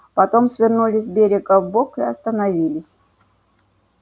потом свернули с берега вбок и остановились